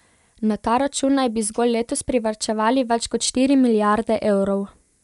Na ta račun naj bi zgolj letos privarčevali več kot štiri milijarde evrov.